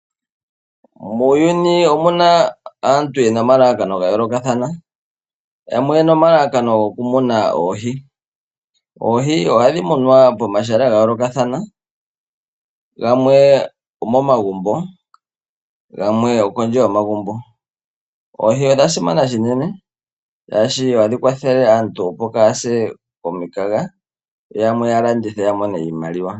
Muuyuni omuna aantu yena omalalakano ga yoolokathana yamwe oyena omalalakano goku muna oohi. Oohi ohadhi munwa pomahala ga yoolokathana gamwe omomagumbo gamwe okondje yomagumbo. Oohi osha simana unene oshoka ohadhi kwathele aantu opo kayase komukaga yoyamwe ya landithe yamone iimaliwa.